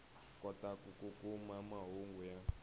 kotaka ku kuma mahungu ya